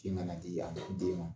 Sin kana di a ma den ma